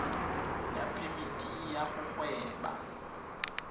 ya phemiti ya go gweba